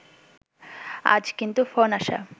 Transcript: আজ কিন্তু ফোন আসা